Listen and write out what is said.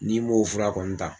N'i m'o fura kɔni ta